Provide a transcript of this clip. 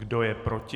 Kdo je proti?